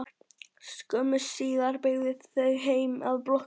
Skömmu síðar beygðu þau heim að blokkinni.